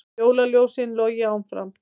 Jólaljósin logi áfram